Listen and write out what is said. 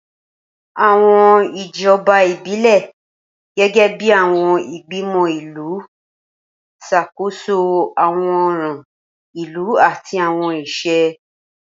Awọn ijọba ibilẹ, gẹgẹbi awọn igbimọ ilu, ṣakoso awọn ọran ilu ati awọn iṣẹ.